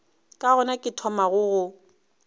ke gona ke thomago go